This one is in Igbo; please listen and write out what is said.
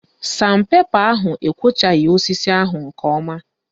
San pepa ahụ ekwochaghị osisi ahụ nke ọma